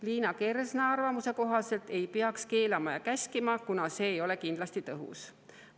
Liina Kersna arvamuse kohaselt ei peaks keelama ja käskima, kuna see ei ole kindlasti tõhus.